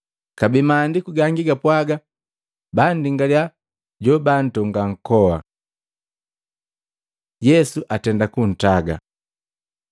Kabee Maandiku gangi gapwaaga, “Bandingaliya jobaantonga nkoa.” Yesu atenda kuntaga Matei 27:57-61; Maluko 15:42-47; Luka 23:50-56